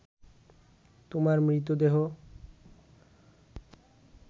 তোমার মৃতদেহ